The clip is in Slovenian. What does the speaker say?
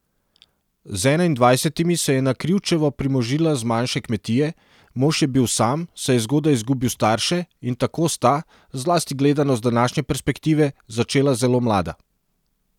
Z enaindvajsetimi se je na Krivčevo primožila z manjše kmetije, mož je bil sam, saj je zgodaj izgubil starše, in tako sta, zlasti gledano z današnje perspektive, začela zelo mlada.